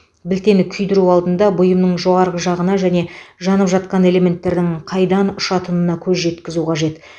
білтені күйдіру алдында бұйымның жоғарғы жағына және жанып жатқан элементтердің қайдан ұшатынына көз жеткізу қажет